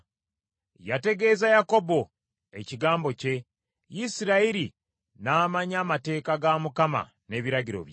Yategeeza Yakobo ekigambo kye; Isirayiri n’amanya amateeka ga Mukama n’ebiragiro bye.